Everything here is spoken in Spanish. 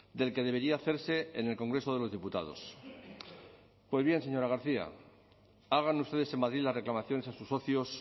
del que debería hacerse en el congreso de los diputados pues bien señora garcia hagan ustedes en madrid la reclamaciones a sus socios